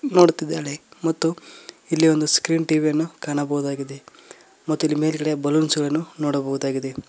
ನೋಡುತ್ತಿದ್ದಾಳೆ ಮತ್ತು ಇಲ್ಲಿ ಒಂದು ಸ್ಕ್ರೀನ್ ಟಿ_ವಿ ಯನ್ನು ಕಾಣಬಹುದಾಗಿದೆ ಮತ್ತು ಇಲ್ಲಿ ಮೇಲ್ಗಡೆ ಬಲೂನ್ಸ್ ಗಳನ್ನು ನೋಡಬಹುದಾಗಿದೆ.